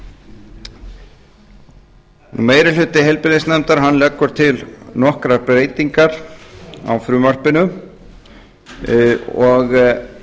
aldraða meiri hluti heilbrigðis og trygginganefndar leggur til nokkrar breytingar á frumvarpinu og það er